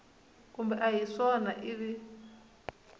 kumbe a hi swona ivi